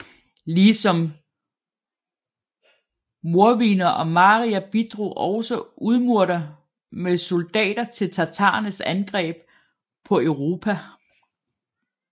Lige som mordviner og marier bidrog også udmurter med soldater til tatarernes angreb på Europa